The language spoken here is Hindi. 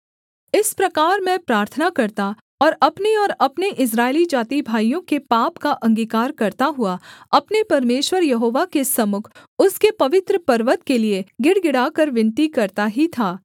इस प्रकार मैं प्रार्थना करता और अपने और अपने इस्राएली जातिभाइयों के पाप का अंगीकार करता हुआ अपने परमेश्वर यहोवा के सम्मुख उसके पवित्र पर्वत के लिये गिड़गिड़ाकर विनती करता ही था